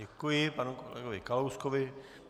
Děkuji panu kolegovi Kalouskovi.